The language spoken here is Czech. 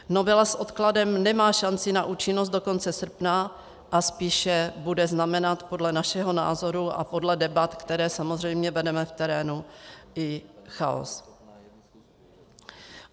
Novela s odkladem nemá šanci na účinnost do konce srpna a spíše bude znamenat podle našeho názoru a podle debat, které samozřejmě vedeme v terénu, i chaos.